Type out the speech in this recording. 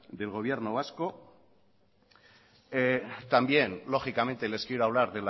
del gobierno vasco también lógicamente les quiero hablar